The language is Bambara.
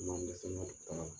I ma n dɛsɛ n ka baara la